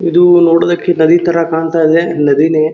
ಇದು ನೋಡೋದಕ್ಕೆ ನದಿ ಕಾಣತ್ತಾ ಇದೆ ನದಿನೆ.